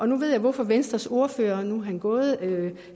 nu ved jeg hvorfor venstres ordfører nu er han gået